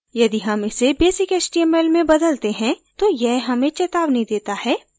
यदि html इसे basic html में बदलते हैं तो यह हमें चैतावनी देता है